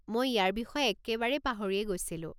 মই ইয়াৰ বিষয়ে একেবাৰে পাহৰিয়েই গৈছিলোঁ।